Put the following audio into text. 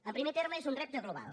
en primer terme és un repte global